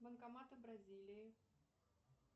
банкоматы бразилии